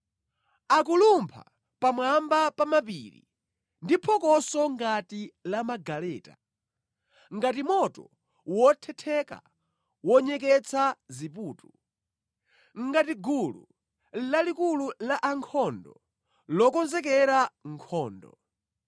Akulumpha pamwamba pa mapiri ndi phokoso ngati la magaleta, ngati moto wothetheka wonyeketsa ziputu, ngati gulu lalikulu la ankhondo lokonzekera nkhondo.